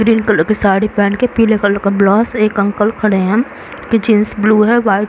Green colour की साड़ी पहनके पिले कलर का ब्लाउज एक अंकल खड़े है। Jeans blue white --